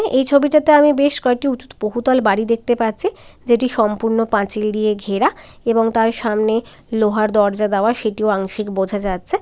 এই ছবিটাতে আমি বেশ কয়েকটি উচু-ত বহুতল বাড়ি দেখতে পাচ্ছি । যেটি সম্পূর্ণ পাঁচিল দিয়ে ঘেরা এবং তার সামনে লোহার দরজা দেওয়ার সেটিও আংশিক বোঝা যাচ্ছে।